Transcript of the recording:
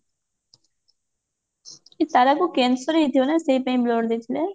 ଏ ତାରା କୁ cancer ହେଇଥିବ ନା ସେଇପାଇଁ blood ଦେଇଥିବେ